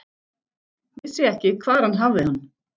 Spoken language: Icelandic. Vissi ekki, hvar hann hafði hann.